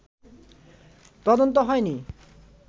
তদন্ত হয়নি